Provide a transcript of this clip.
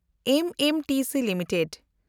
MMTC limited